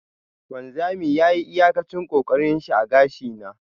wanzami yayi iyakacin kokarinshi a gashi na.